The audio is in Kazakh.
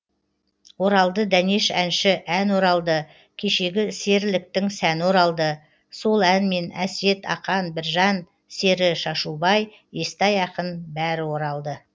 оралды дәнеш әнші ән оралды кешегі серіліктің сәні оралды сол әнмен әсет ақан біржан сері шашубай естай ақын бәрі оралды